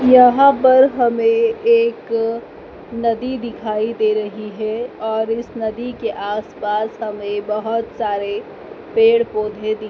यहां पर हमें एक नदी दिखाई दे रही है और इस नदी के आसपास हमें बहुत सारे पेड़ पौधे दिख--